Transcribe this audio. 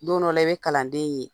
Don dɔw la i bɛ kalanden ye